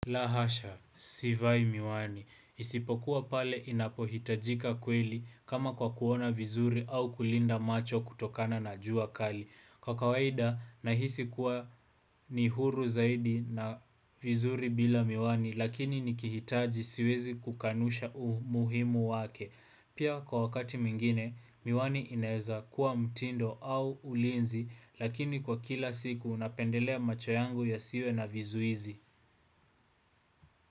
La hasha, sivai miwani. Isipokuwa pale inapohitajika kweli kama kwa kuona vizuri au kulinda macho kutokana na jua kali. Kwa kawaida, nahisi kuwa ni huru zaidi na vizuri bila miwani, lakini nikihitaji siwezi kukanusha umuhimu wake. Pia kwa wakati mingine, miwani inaeza kuwa mtindo au ulinzi, lakini kwa kila siku unapendelea macho yangu ya siwe na vizuizi.